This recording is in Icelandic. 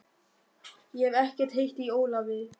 Ég hef ekkert heyrt í Ólafi.